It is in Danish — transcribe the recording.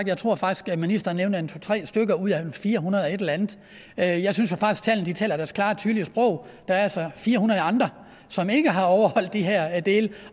jeg tror faktisk at ministeren nævner en to tre stykker ud af firehundredeogetellerandet jeg jeg synes jo faktisk at tallene taler deres klare tydelige sprog der er altså fire hundrede andre som ikke har overholdt de her dele